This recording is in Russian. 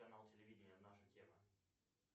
канал телевидения наша тема